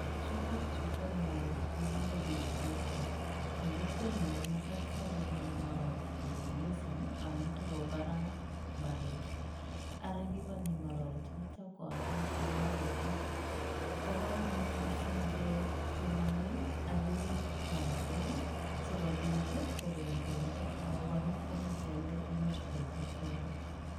Chutokchu ko ngororek che kikinde zero grazing, eng kokwenyu ko matatia kindoni ngororek zero grazing ii, amun takobaraa mbaret, ara kikonye ngororechoto koaket eng imbarenik, bo kamanut mising kenomei ak kerip ngororek ii so kobit ii kokon bendo ako kora komuch ialde inyorchikei chepkondok.